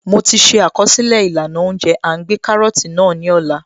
Mo ti ṣe àkọsílẹ̀ ìlànà óúnjẹ À ń gbé kárọ́tì náà ní Ọlá